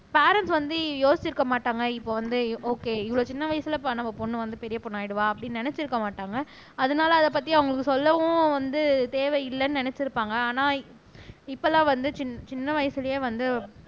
parents வந்து யோசிச்சிருக்க மாட்டாங்க இப்ப வந்து ஒகே இவ்வளவு சின்ன வயசுல ப நம்ம பொண்ணு வந்து பெரிய பொண்ணு ஆயிடுவா அப்படின்னு நினைச்சிருக்க மாட்டாங்க அதனால அதைப் பத்தி அவங்களுக்கு சொல்லவும் வந்து தேவையில்லைன்னு நினைச்சிருப்பாங்க ஆனா இப்ப எல்லாம் வந்து சின் சின்ன வயசுலயே வந்து